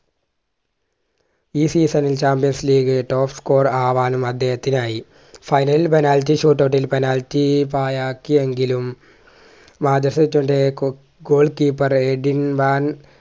ഈ season ഇൽ champions league top score ആവാനും അദ്ദേഹത്തിനായി final penalty shoot out ഇൽ penalty പാഴാക്കിയെങ്കിലും Manchester goal keeper Edwin van